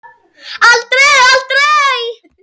Aldrei, aldrei.